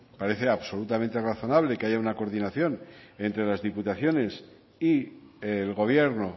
parece absolutamente razonable que haya una coordinación entre las diputaciones y el gobierno